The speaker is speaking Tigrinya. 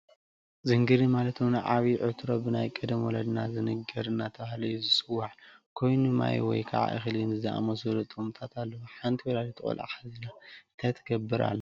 ዝንግሪር ማለት እውን ዓብይ ዕትሮ ብናይ ቀደም ወለዲና ዝንግሪር እናተባህለ እዩ ዝፅዋዕ ኮይኑ ማይ ወይ እክሊ ን ዝኣመሳሰሉ ጥቅምታት ኣለዎ። ሓንቲ ወላዲት ቆልዓ ሓዚላ እንታይ ትገብር ኣላ?